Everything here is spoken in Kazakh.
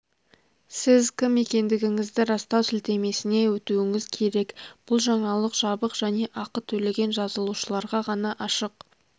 сіз кім екендігіңізді растау сілтемесіне өтуіңіз керек бұл жаңалық жабық және ақы төлеген жазылушыларға ғана ашық